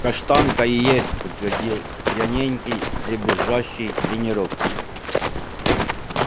каштанка и есть подтвердил пьяненький дребезжащий тенорок